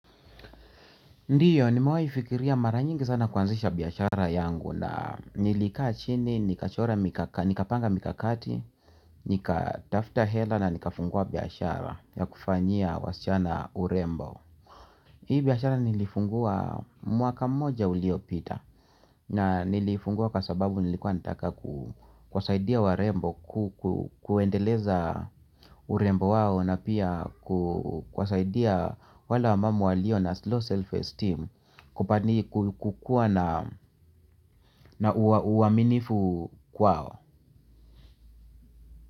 Ndiyo nimewahi fikiria mara nyingi sana kuanzisha biashara yangu laa nilikaa chini nikachora mika nikapanga mikakati nikatafta hela na nikafungua biashara ya kufanyia wasichana urembo. Hii biashara nilifungua mwaka mmoja uliyopita na nilifungua kwa sababu nilikuwa nataka kuwasaidia warembo kuendeleza urembo wao na pia kuwasaidia wale wamama walio na low self esteem kupani kukua na uaminifu kwao.